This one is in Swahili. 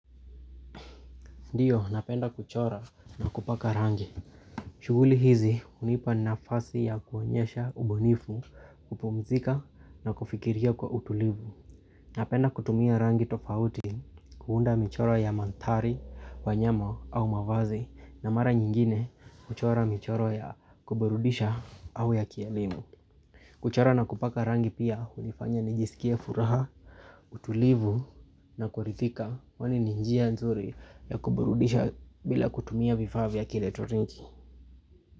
Ndiyo napenda kuchora na kupaka rangi. Shughuli hizi hunipa nafasi ya kuonyesha ubunifu kupumzika na kufikiria kwa utulivu. Napenda kutumia rangi tofauti kuunda michoro ya mandhari, wanyama au mavazi. Na mara nyingine kuchora michoro ya kuburudisha au ya kielimu. Kuchora na kupaka rangi pia hunifanya nijisikie furaha utulivu na kuridhika kwani ni njia nzuri ya kuburudisha bila kutumia vifaa vya kielekitroniki.